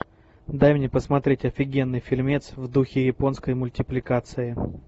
дай мне посмотреть офигенный фильмец в духе японской мультипликации